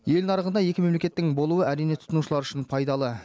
ел нарығында екі мемлекеттің болуы әрине тұтынушылар үшін пайдалы